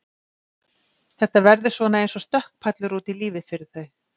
Þetta verður svona eins og stökkpallur út í lífið fyrir þau.